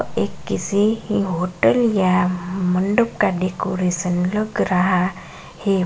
ये किसी भी होटल या मंडप का डेकोरेशन लगा रहा है।